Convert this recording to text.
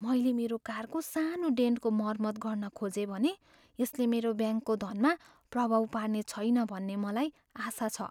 मैले मेरो कारको सानो डेन्टको मर्मत गर्न खोजेँ भने यसले मेरो ब्याङ्कको धनमा प्रभाव पार्ने छैन भन्ने मलाई आशा छ।